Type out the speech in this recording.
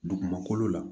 Dugumakolo la